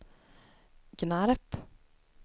Gnarp